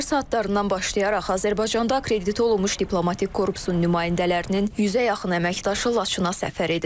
Səhər saatlarından başlayaraq Azərbaycanda akkreditə olunmuş diplomatik korpusun nümayəndələrinin yüzə yaxın əməkdaşı Laçına səfər edib.